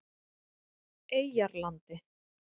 Eyjarlandi